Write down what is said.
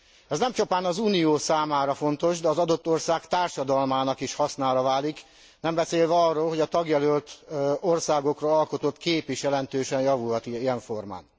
Ez nem csupán az Unió számára fontos, de az adott ország társadalmának is hasznára válik, nem beszélve arról, hogy a tagjelölt országokról alkotott kép is jelentősen javulhat ilyenformán.